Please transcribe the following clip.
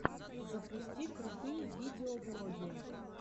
запусти крутые видеоблоги